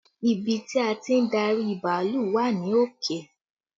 Ibi tí a ti ń darí bàálù wà ní òkè